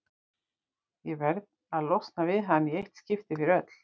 Ég verð að losna við hann í eitt skipti fyrir öll.